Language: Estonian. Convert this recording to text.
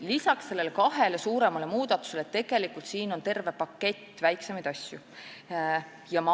Peale nende kahe suurema muudatuse on veel terve pakett väiksemaid asju.